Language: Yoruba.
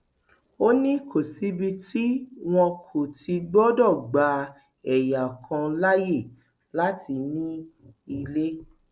ó ní kò síbi tí wọn kò ti gbọdọ gba ẹyà kan láàyè láti ní ilé